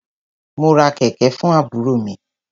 Mo ra kẹ̀kẹ̀ fún àbúrò mi.